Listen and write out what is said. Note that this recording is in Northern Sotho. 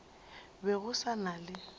be go sa na le